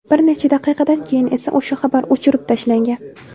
Bir necha daqiqadan keyin esa o‘sha xabar o‘chirib tashlangan.